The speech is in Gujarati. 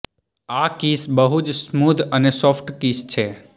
આ કિસ બહુ જ સ્મુધ અને સોફ્ટ કિસ છે